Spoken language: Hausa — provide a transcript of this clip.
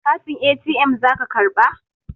Katin ATM zaki karɓa?